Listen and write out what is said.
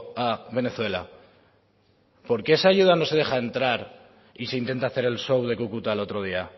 a venezuela por qué esa ayuda no se deja entrar y se intenta hacer el show de cúcuta el otro día